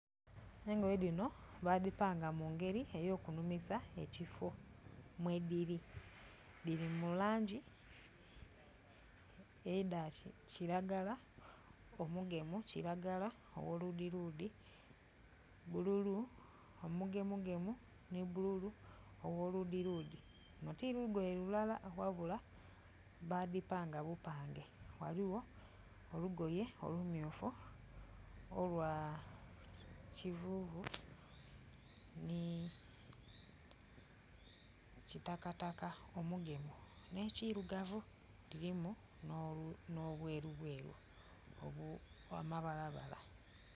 Engoye dhino badhipanga mu ngeri enumisa ekifo mwediri, dhiri mu langi edhakiragala omugemu, kiragala ogholudhiludhi, bululu omugemugemu ni bululu ogho ludhiludhi luno tilugoye lulala ghabula badhipanga bupange, ghaligho olugoye olumyufu, olwa kivuvuvu ni olwa kitakataka omugemu nekirugavu kirimu n'obwerubweru obwa mabalabala.